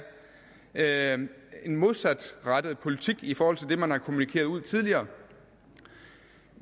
er en modsatrettet politik i forhold til det man har kommunikeret ud tidligere